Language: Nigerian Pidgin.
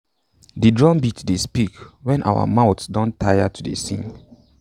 de drumbeat dey speak wen our mouths don tire to dey sing